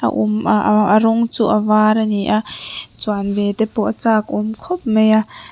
a rawng chu a var a ni a chuan ve te pawh a chak awm khawp mai a.